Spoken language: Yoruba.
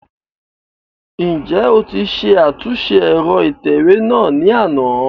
Njẹ o ti ṣe atunṣe ẹrọ itẹwe náa ni ana?